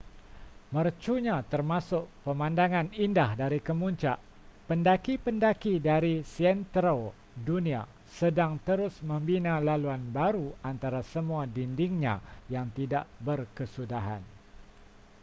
mercunya termasuk pemandangan indah dari kemuncak pendaki-pendaki dari seantero dunia sedang terus membina laluan baru antara semua dindingnya yang tidak berkesudahan